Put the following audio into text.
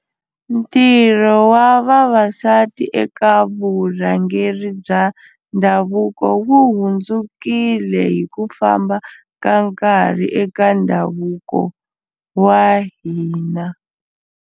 Ntirho wa vavasati eka vurhangeri bya ndhavuko wu hundzukile hi ku famba ka nkarhi eka ndhavuko wa hina.